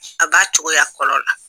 A b'a cogoya fɔlɔ la.